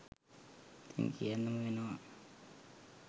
ඉතින් කියන්නම වෙනවා.